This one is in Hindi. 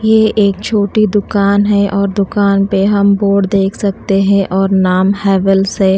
ये एक छोटी दुकान है और दुकान पे हम बोर्ड देख सकते हैं और नाम हैवेल्स है।